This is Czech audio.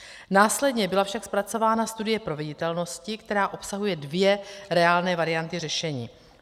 Následně byla však zpracována studie proveditelnosti, která obsahuje dvě reálné varianty řešení.